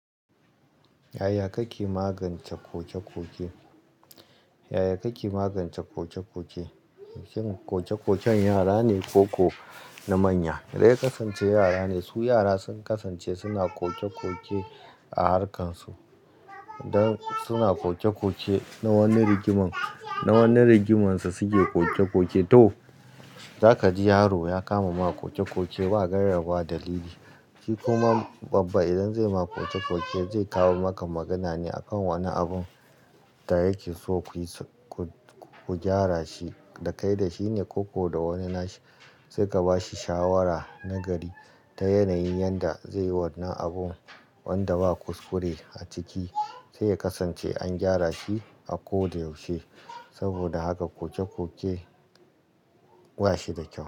Yaya kake magance ƙoƙe-ƙoƙe? Yaya kake magance ƙoƙe-ƙoƙe? Shin ƙoƙe-ƙoƙen yara ne ko ko na manya? Dai kasance yara ne su yara sun kasance suna ƙoƙe-ƙoƙe a harkarsu. Dan suna ƙoƙe-ƙoƙe na wani rigimar, na wani rigimarsu suke ƙoƙe-ƙoƙe. To, zaka ji yaro ya kama ma ƙoƙe-ƙoƙe ba gairaba dalili. Shi kuma babba idan zai ma ƙoƙe-ƙoƙe, zai kawo maka magana ne akan wani abun da yake so ku yi ku gyara shi, da kai da shi ne ko ko da wani nashi. Sai ka ba shi shawara na gari ta yanayi yanda zai yi wannan abun wanda ba kuskure a ciki sai ya kasance an gyara shi a ko da yaushe. Saboda haka ƙoƙe-ƙoƙe ba shi da kyau.